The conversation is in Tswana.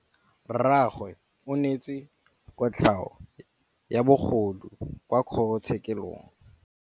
Rragwe o neetswe kotlhaô ya bogodu kwa kgoro tshêkêlông.